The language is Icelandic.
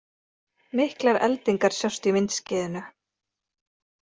Miklar eldingar sjást í myndskeiðinu